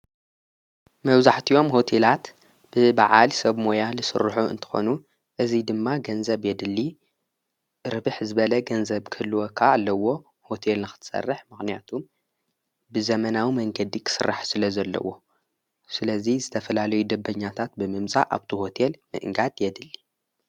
መውዛሕትዮም ሆቴላት ብበዓል ሰብ ሞያ ሥርኁ እንተኾኑ እዙይ ድማ ገንዘብ የድሊ ርብኅ ዝበለ ገንዘብ ክልወካ ኣለዎ ሆቴል ናኽትሠርሕ ማቕንያቱ ብዘመናዊ መንገዲ ኽሥራሕ ስለ ዘለዎ ስለዙይ ዝተፈላለ ይደበኛታት ብምምዛ ኣብቲ ዎቴል ምእንጋድ የድሊ::